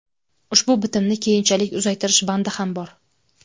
Ushbu bitimni keyinchalik uzaytirish bandi ham bor.